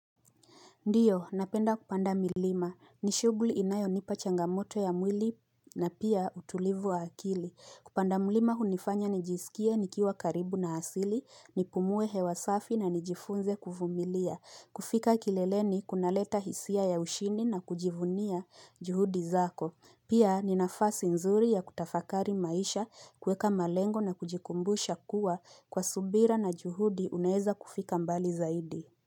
Ndiyo, napenda kupanda milima. Ni shuguli inayo nipa changamoto ya mwili na pia utulivu wa akili. Kupanda mlima unifanya nijisikie nikiwa karibu na asili, nipumue hewa safi na nijifunze kuvumilia. Kufika kileleni kuna leta hisia ya ushindi na kujivunia juhudi zako. Pia ni nafasi nzuri ya kutafakari maisha kuweka malengo na kujikumbusha kuwa kwa subira na juhudi unaeza kufika mbali zaidi.